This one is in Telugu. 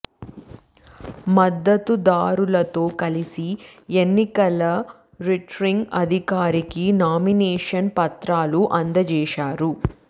మద్దతు దారులతో కలిసి ఎన్నికల రిటర్నింగ్ అధికారికి నామినేషన్ పత్రాలు అందజేశారు